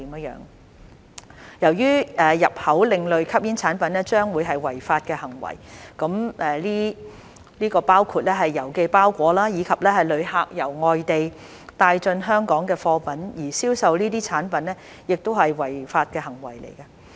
由於入口另類吸煙產品將會是違法的行為，這包括郵寄包裹，以及旅客由外地帶進香港的貨品，而銷售這些產品亦是違法的行為。